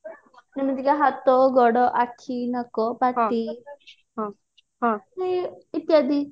ଯେମିତିକି ହାତ ଗୋଡ ଆଖି ନାକ ପଟି ଇତ୍ୟାଦି